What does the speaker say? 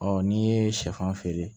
n'i ye sɛfan feere